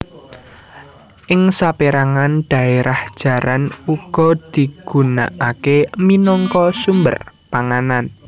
Ing sapérangan dhaérah jaran uga digunaaké minangka sumber panganan